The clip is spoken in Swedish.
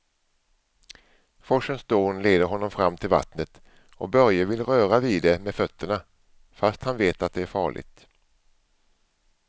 Forsens dån leder honom fram till vattnet och Börje vill röra vid det med fötterna, fast han vet att det är farligt.